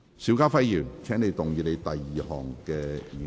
邵家輝議員，請動議你的第二項議案。